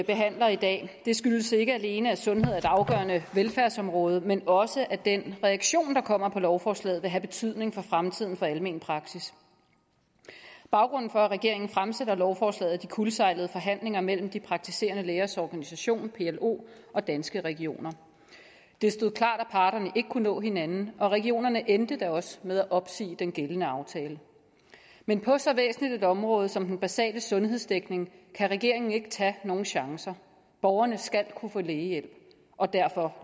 behandler i dag det skyldes ikke alene at sundhed er et afgørende velfærdsområde men også at den reaktion der kommer på lovforslaget vil have betydning for fremtiden for almen praksis baggrunden for at regeringen fremsætter lovforslaget er de kuldsejlede forhandlinger mellem de praktiserende lægers organisation plo og danske regioner det stod klart at parterne ikke kunne nå hinanden og regionerne endte da også med at opsige den gældende aftale men på så væsentligt et område som den basale sundhedsdækning kan regeringen ikke tage nogen chancer borgerne skal kunne få lægehjælp og derfor